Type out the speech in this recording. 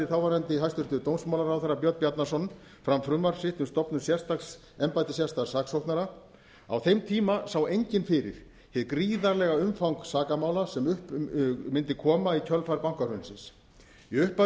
þáverandi hæstvirtur dómsmálaráðherra björn bjarnason fram frumvarp sitt um stofnun embætti sérstaks saksóknara á þeim tíma sá enginn fyrir hið gríðarlega umfang sakamála sem upp mundi koma í kjölfar bankahrunsins í upphafi